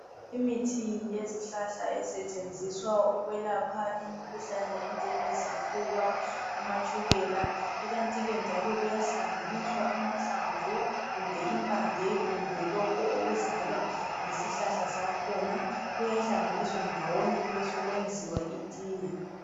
Imithi yezihlahla esetshenziswa ukwelapha imikhuhlane enjengezifuba amatshukela kanti kenl njalo kuyahlanganiswa amahlamvu kumbe impande kumbe lokho kuzalwa yisihlahla zakhona kuyahlanganiswa ndawonye besekwenziwa itiye.